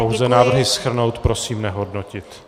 Pouze návrhy shrnout, prosím nehodnotit.